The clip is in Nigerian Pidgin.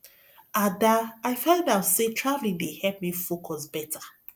ada i find out say traveling dey help me focus beta